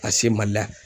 A se mali la